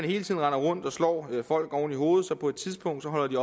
hele tiden render rundt og slår folk oven i hovedet så på et tidspunkt